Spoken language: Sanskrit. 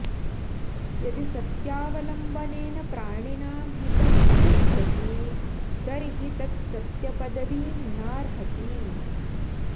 यदि सत्यावलम्बनेन प्राणिनां हितं न सिध्यति तर्हि तत् सत्यपदवीं नार्हति